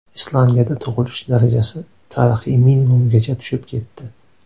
Islandiyada tug‘ilish darajasi tarixiy minimumgacha tushib ketdi.